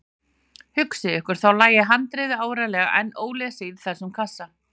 Hugsið ykkur, þá lægi handritið áreiðanlega enn ólesið í þessum kassa!